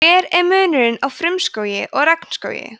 hver er munurinn á frumskógi og regnskógi